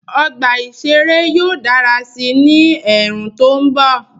Ọgbà ìṣeré yóò dára sí i ní ẹ̀ẹ̀rùn tó mbọ̀